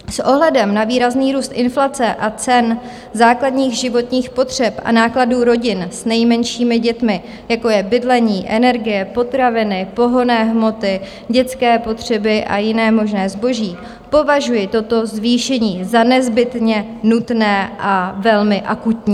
S ohledem na výrazný růst inflace a cen základních životních potřeb a nákladů rodin s nejmenšími dětmi, jako je bydlení, energie, potraviny, pohonné hmoty, dětské potřeby a jiné možné zboží, považuji toto zvýšení za nezbytně nutné a velmi akutní.